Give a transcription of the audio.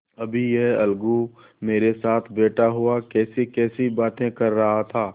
अभी यह अलगू मेरे साथ बैठा हुआ कैसीकैसी बातें कर रहा था